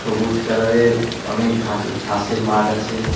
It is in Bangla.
সবুজ কালার -এর অনেক ঘাস ঘাসের মাঠ আছে।